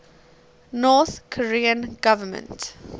north korean government